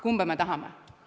Kumba me tahame?